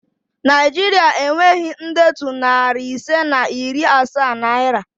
Naịjiria enweghị ndetu nari ise na iri asaa naira